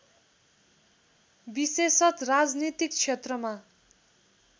विशेषत राजनीतिक क्षेत्रमा